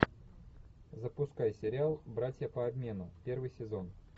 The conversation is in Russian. запускай сериал братья по обмену первый сезон